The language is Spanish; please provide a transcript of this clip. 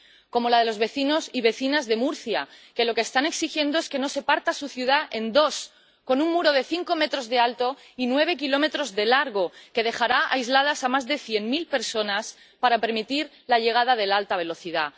como la de los vecinos y vecinas de Murcia, que lo que están exigiendo es que no se parta su ciudad en dos con un muro de cinco metros de alto y nueve kilómetros de largo que dejará aisladas a más de cien mil personas para permitir la llegada de la alta velocidad.